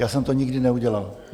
Já jsem to nikdy neudělal.